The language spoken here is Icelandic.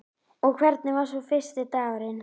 Og hvernig var svo fyrsti dagurinn?